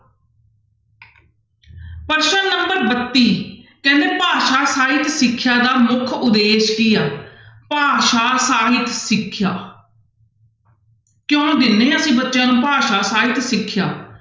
ਪ੍ਰਸ਼ਨ number ਬੱਤੀ ਕਹਿੰਦੇ ਭਾਸ਼ਾ ਸਾਹਿਤ ਸਿੱਖਿਆ ਦਾ ਮੁੱਖ ਉਦੇਸ਼ ਕੀ ਆ ਭਾਸ਼ਾ ਸਾਹਿਤ ਸਿੱਖਿਆ ਕਿਉਂ ਦਿੰਦੇ ਹਾਂ ਅਸੀਂ ਬੱਚਿਆਂ ਨੂੰ ਭਾਸ਼ਾ ਸਾਹਿਤ ਸਿੱਖਿਆ?